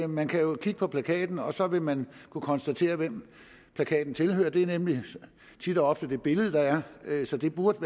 man kan jo kigge på plakaten og så vil man kunne konstatere hvem plakaten tilhører det er nemlig tit og ofte det billede der er så det burde